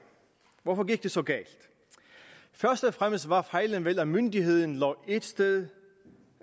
hvorfor gik det så galt først og fremmest var fejlen vel at myndigheden lå et sted